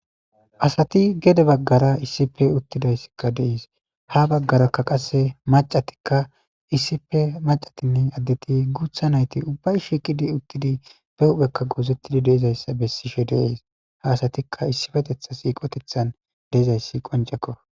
asati gede baggara issipe uttidayssikka deiis ha baggarakka qasse macatikka issipe macatinne addeti guutha nayti ubbay shiiqidi uttidi pe huphekka goozettidi deizayssa bessishe deees ha asatikka issifetetha siiqotethan deizayssi qoncekko